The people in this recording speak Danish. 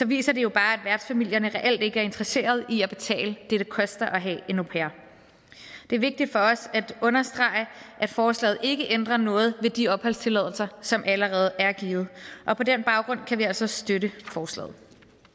viser det jo bare at værtsfamilierne reelt ikke er interesseret i at betale det det koster at have en au pair det er vigtigt for os at understrege at forslaget ikke ændrer noget ved de opholdstilladelser som allerede er givet og på den baggrund kan vi altså støtte forslaget